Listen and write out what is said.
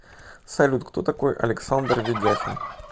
салют кто такой александр ведяхин